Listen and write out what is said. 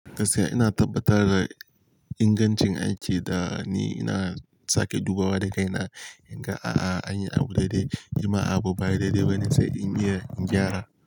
Gaskiya ina tabbatar da ingancin aiki da ni ina sake dubawa da kai na in ga a'a an yi abu daidai, in ma abu baya daidai ba nisai in iya in gyara.